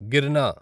గిర్న